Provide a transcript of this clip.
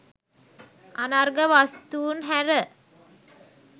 අනර්ඝ වස්තූන් හැර